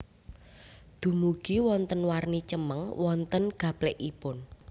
Dumugi wonten warni cemeng wonten gaplèkipun